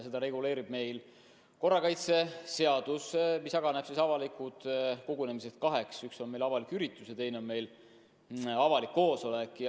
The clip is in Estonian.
Seda reguleerib meil korrakaitseseadus, mis jagab avalikud kogunemised kaheks: üks on avalik üritus ja teine on avalik koosolek.